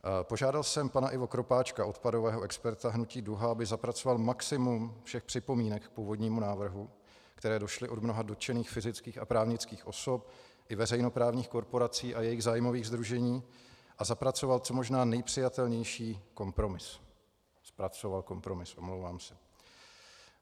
Požádal jsem pana Ivo Kropáčka, odpadového experta hnutí Duha, aby zapracoval maximum všech připomínek k původnímu návrhu, které došly od mnoha dotčených fyzických a právnických osob i veřejnoprávních korporací a jejich zájmových sdružení, a zapracoval co možná nejpřijatelnější kompromis - zpracoval kompromis, omlouvám se.